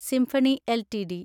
symphony LTD